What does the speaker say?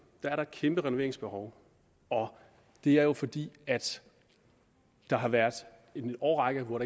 er der et kæmpe renoveringsbehov og det er jo fordi der har været en årrække hvor